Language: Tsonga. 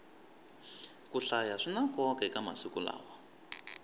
ku hlaya swina nkoka eka masiku lawa